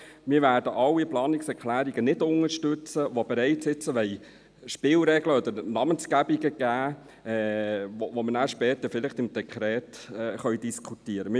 Wir werden alle Planungserklärungen nicht unterstützen, die bereits jetzt Spielregeln oder Namensgebungen geben wollen, die wir vielleicht später beim Dekret diskutieren können.